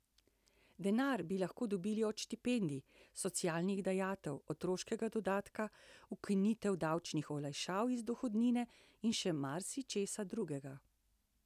Denar bi lahko dobili od štipendij, socialnih dajatev, otroškega dodatka, ukinitev davčnih olajšav iz dohodnine, in še marsičesa drugega.